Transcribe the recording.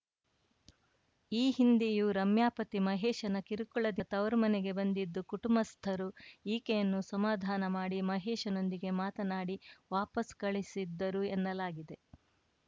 ಈ ಹಿಂದೆಯೂ ರಮ್ಯಾ ಪತಿ ಮಹೇಶನ ಕಿರುಕುಳದಿಂದ ತವರು ಮನೆಗೆ ಬಂದಿದ್ದು ಕುಟುಂಬಸ್ಥರು ಈಕೆಯನ್ನು ಸಮಾಧಾನ ಮಾಡಿ ಮಹೇಶನೊಂದಿಗೆ ಮಾತನಾಡಿ ವಾಪಸ್‌ ಕಳುಹಿಸಿದ್ದರು ಎನ್ನಲಾಗಿದೆ